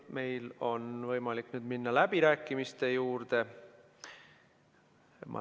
Meil on võimalik nüüd minna läbirääkimiste juurde.